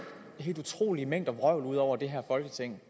helt utrolige mængder vrøvl ud over det her folketing